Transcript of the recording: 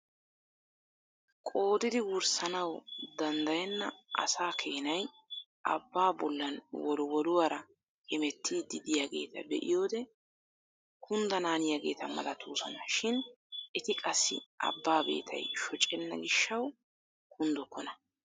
Qoodidi wurssanawu danddayenna asaa keenay abbaa bollaan wolwolluwaara hemettiidi de'iyaageta be'iyoode kundanaaniyaageta malatoosona shin eti qassi abbaa beettay shooccenna giishshawu kunddokona.